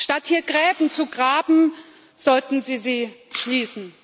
Statt hier Gräben zu graben, sollten Sie sie schließen.